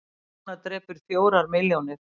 Kona drepur fjórar milljónir